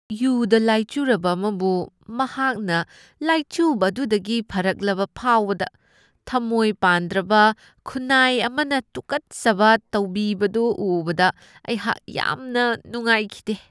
ꯌꯨꯗꯥ ꯂꯥꯢꯆꯨꯔꯕ ꯑꯃꯕꯨ ꯃꯍꯥꯛꯅ ꯂꯥꯢꯆꯨꯕ ꯑꯗꯨꯗꯒꯤ ꯐꯔꯛꯂꯕ ꯐꯥꯎꯕꯗ ꯊꯃꯣꯢ ꯄꯥꯟꯗ꯭ꯔꯕ ꯈꯨꯟꯅꯥꯢ ꯑꯃꯅ ꯇꯨꯀꯠꯆꯅ ꯇꯧꯕꯤꯕꯗꯨ ꯎꯕꯗ ꯑꯩꯍꯥꯛ ꯌꯥꯝꯅ ꯅꯨꯡꯉꯥꯢꯈꯤꯗꯦ꯫